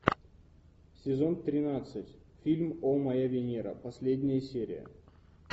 сезон тринадцать фильм о моя венера последняя серия